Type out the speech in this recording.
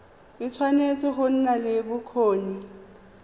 tshwanetse go nna le bokgoni